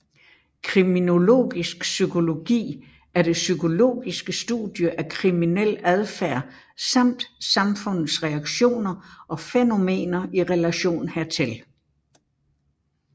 Kriminologisk psykologi er det psykologiske studie af kriminel adfærd samt samfundets reaktioner og fænomener i relation hertil